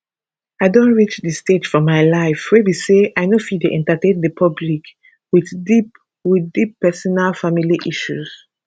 i don reach di stage for my life wey be say i no fit dey entertain di public wit deep wit deep personal family issues